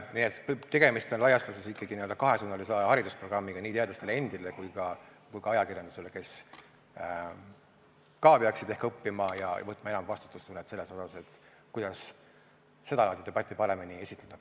Nii et tegemist on laias laastus ikkagi kahesuunalise haridusprogrammiga nii teadlastele endile kui ka ajakirjandusele, kes ka peaks ehk õppima ja kellel peaks olema enam vastutustunnet selles mõttes, kuidas seda laadi debatti paremini esitada.